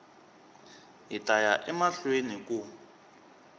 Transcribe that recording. hi ta ya emahlweni ku